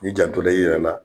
N'i jantola i yɛrɛ la